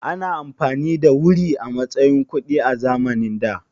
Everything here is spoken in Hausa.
Ana amfani da wuri a matsayin kuɗi a zamanin da?